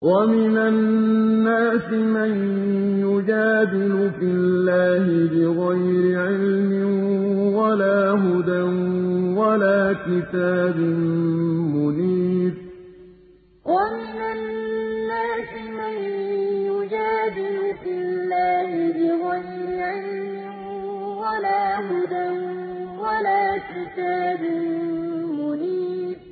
وَمِنَ النَّاسِ مَن يُجَادِلُ فِي اللَّهِ بِغَيْرِ عِلْمٍ وَلَا هُدًى وَلَا كِتَابٍ مُّنِيرٍ وَمِنَ النَّاسِ مَن يُجَادِلُ فِي اللَّهِ بِغَيْرِ عِلْمٍ وَلَا هُدًى وَلَا كِتَابٍ مُّنِيرٍ